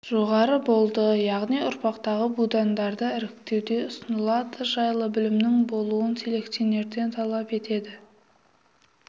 жоғары болды яғни ұрпақтағы будандарды іріктеуде ұсынылады жайлы білімінің болуын селекционерден талап етеді